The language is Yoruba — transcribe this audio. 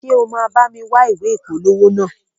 Ṣe o ma bámi wa ìwé ìpolówó naa?